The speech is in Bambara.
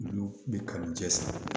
Olu bɛ kanu cɛ siri